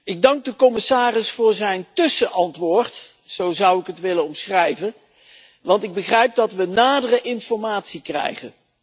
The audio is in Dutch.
Ik dank de commissaris voor zijn tussenantwoord zo zou ik het willen omschrijven want ik begrijp dat we nadere informatie krijgen.